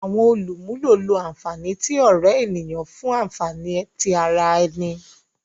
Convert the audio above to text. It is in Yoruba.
Awọn olumulo lo anfani ti ore eniyan fun anfani ti ara ẹni.